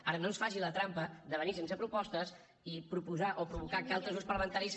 ara no ens faci la trampa de venir sense propostes i proposar o provocar que altres grups parlamentaris